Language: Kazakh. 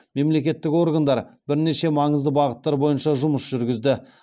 мемлекеттік органдар бірнеше маңызды бағыттар бойынша жұмыс жүргізді